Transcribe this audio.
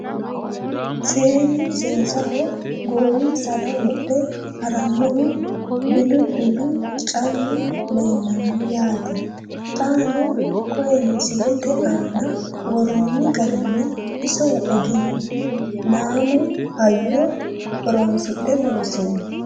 Seennu seesaho goowinsara wodhe harannohu bilibilu callu leelanno yaatte xaanno koye misilette aanna woroonni garinni. iso egenaammu hayyo horoonsidhe loosinno.